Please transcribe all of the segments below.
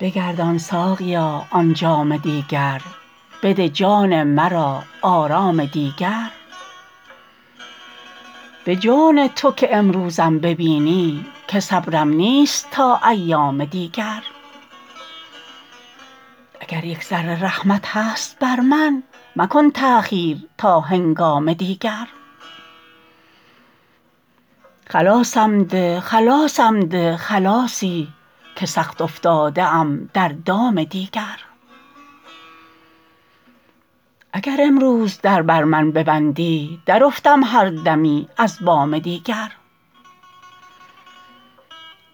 بگردان ساقیا آن جام دیگر بده جان مرا آرام دیگر به جان تو که امروزم ببینی که صبرم نیست تا ایام دیگر اگر یک ذره رحمت هست بر من مکن تأخیر تا هنگام دیگر خلاصم ده خلاصم ده خلاصی که سخت افتاده ام در دام دیگر اگر امروز در بر من ببندی درافتم هر دمی از بام دیگر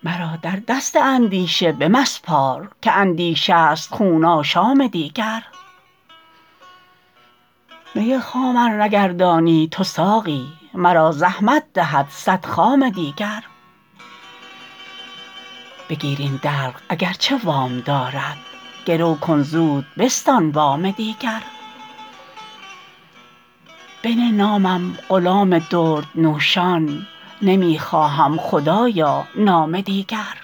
مرا در دست اندیشه بمسپار که اندیشه ست خون آشام دیگر می خام ار نگردانی تو ساقی مرا زحمت دهد صد خام دیگر بگیر این دلق اگر چه وام دارم گرو کن زود بستان وام دیگر بنه نامم غلام دردنوشان نمی خواهم خدایا نام دیگر